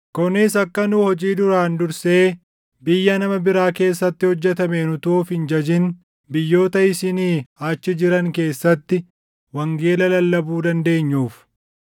kunis akka nu hojii duraan dursee biyya nama biraa keessatti hojjetameen utuu of hin jajin biyyoota isinii achi jiran keessatti wangeela lallabuu dandeenyuuf.